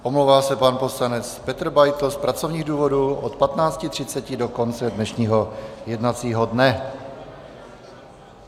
Omlouvá se pan poslanec Petr Beitl z pracovních důvodů od 15.30 do konce dnešního jednacího dne.